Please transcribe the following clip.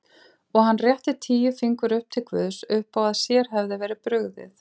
Og hann rétti tíu fingur upp til guðs uppá að sér hefði verið brugðið.